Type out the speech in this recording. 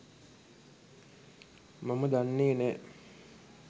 මම දන්නෙ නෑ.